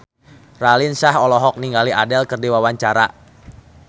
Raline Shah olohok ningali Adele keur diwawancara